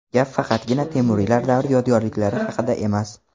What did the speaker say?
Gap faqatgina Temuriylar davri yodgorliklari haqida emas.